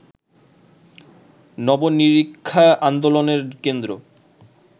নব-নিরীক্ষা আন্দোলনের কেন্দ্র